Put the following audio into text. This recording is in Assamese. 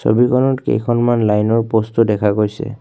ছবিখনত কেইখনমান লাইন ৰ প'ষ্ট ও দেখা গৈছে।